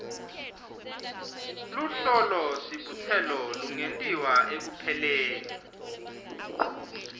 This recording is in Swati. luhlolosibutselo lungentiwa ekupheleni